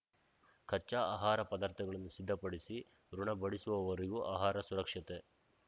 ಕಚ್ಚಾ ಆಹಾರ ಪದಾರ್ಥಗಳನ್ನು ಸಿದ್ಧಪಡಿಸಿ ಉಣಬಡಿಸುವವರೆಗೂ ಆಹಾರ ಸುರಕ್ಷತೆ